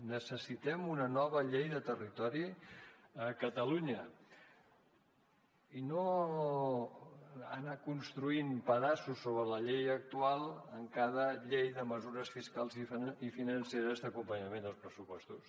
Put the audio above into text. necessitem una nova llei de territori a catalunya i no anar construint pedaços sobre la llei actual en cada llei de mesures fiscals i financeres d’acompanyament dels pressupostos